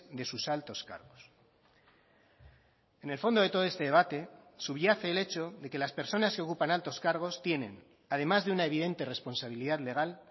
de sus altos cargos en el fondo de todo este debate subyace el hecho de que las personas que ocupan altos cargos tienen además de una evidente responsabilidad legal